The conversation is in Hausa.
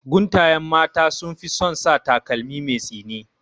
Guntayen mata sunfi son sa takalmi mai tsini